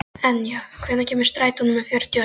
Enja, hvenær kemur strætó númer fjörutíu og sex?